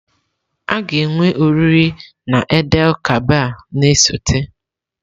A ga-enwe oriri na Eid-el-Kabir na-esote.